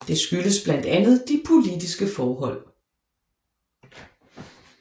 Det skyldes blandt andet de politiske forhold